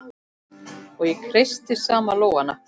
Og ég kreisti saman lófana.